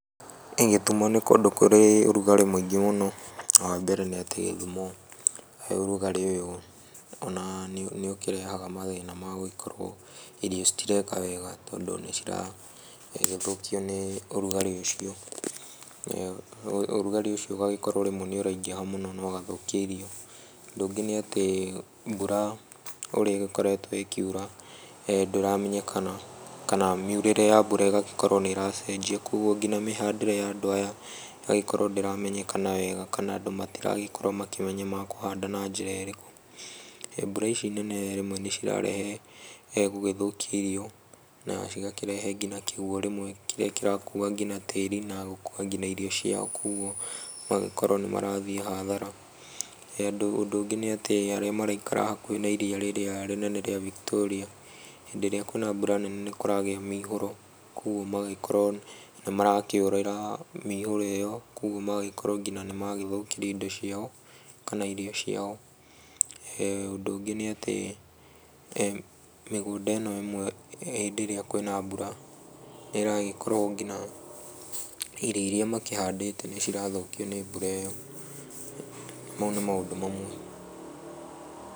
Gĩthumo nĩ kũndũ kũrĩ ũrugarĩ mũingĩ mũno na wambere nĩ atĩ gĩthumo ũrugarĩ ũyũ ona nĩ ũkĩrehaga mathĩna ma gũkorwo irio citireka wega tondũ nĩciragĩthũkio nĩ ũrugarĩ ũcio. Ũrugarĩ ũcio ũgagĩkorwo rĩmwe nĩ ũraingĩha mũno na ũgathũkia irio. Ũndũ ũngĩ nĩ atĩ mbura ũrĩa ĩgĩkoretwo ĩkĩura ndĩramenyekana, kana míiurĩre ya mbura ĩgagĩkorwo nĩ ĩracenjia koguo nginya mĩhandĩre ya andũ aya ĩgagĩkorwo ndĩramenyekana wega kana andũ matirakorwo makĩmenya makũhanda na njĩra ĩrĩkũ. Mbura ici nene rĩmwe nĩcirakĩrehe gũgĩthũkia irio na cikarehe nginya kĩguo kĩrĩa kĩrakua nginya tĩri na gũkua nginya irio ciao koguo magakorwo nĩmarathiĩ hathara. Ũndũ ũngĩ nĩ atĩ arĩa maraikara hakuhĩ na iria rĩrĩa inene rĩa Victoria, hĩndĩ ĩrĩa kwĩna mbura nene nĩkũragĩa na mĩihũro koguo magagĩkorwo nĩmarakĩũrĩra mĩihũro ĩyo koguo magakorwo nginya nĩmagĩthũkĩrio indo ciao kana irio ciao. Ũndũ ũngĩ nĩ atĩ mĩgũnda ĩno ĩmwe hĩndĩ ĩrĩa kwĩna mbura nĩragĩkorwo ngina irio iria makĩhandĩte nĩcirathũkio nĩ mbura ĩyo. Mau nĩ maũndũ mamwe.